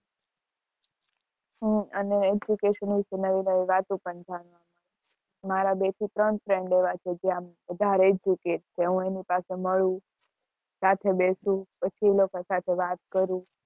હું અને નવી નવી વાતો પણ થાય મારા બે થી ત્રણ friend એવા છે જે આમ વધારે educate છે હું એની પાસે મળું સાથે બેસું પછી એ લોકો સાથે વાતો કરું